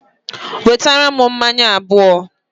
Wetara m mmanya abuo